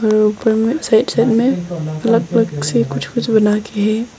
और ऊपर में साइड साइड में अलग अलग से कुछ कुछ बना के है।